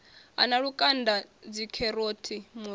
a na lukanda dzikheroti muroho